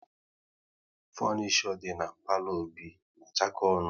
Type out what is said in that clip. Funisho dị na palo Obi na achako ọnụ